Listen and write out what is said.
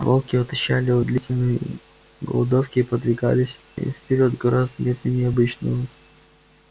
волки отощали от длительной голодовки и подвигались вперёд гораздо медленнее обычного